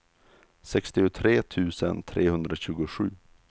sextiotre tusen trehundratjugosju